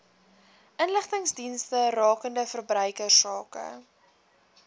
inligtingsdienste rakende verbruikersake